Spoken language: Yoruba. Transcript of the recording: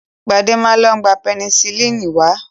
Gbadé ma lọ gba pẹnisílínì wá.